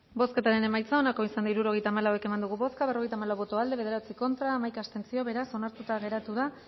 bozketaren emaitza onako izan da hirurogeita hamalau eman dugu bozka berrogeita hamalau boto aldekoa bederatzi contra hamaika abstentzio beraz onartuta geratu da